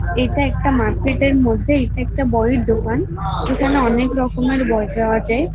এটা একটা মার্কেট -এর মধ্যে এটা একটা বইয়ের দোকান। এখানে অনেক রকমের বই পাওয়া যায়।